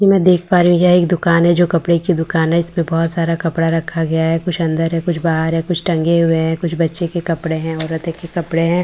कि मैं देख पा रही हूँ यह एक दुकान है जो कपड़े की दुकान है इसमें बहुत सारा कपड़ा रखा गया है कुछ अन्दर है कुछ बाहर है कुछ टंगे हुए है कुछ बच्चे के कपड़े है औरतो के कपड़े है ।